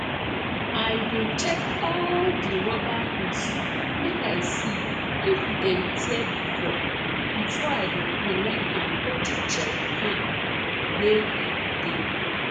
i dey check all de rubber hose make i see if dem tear before before i go connect am go d jerry can wey dem dey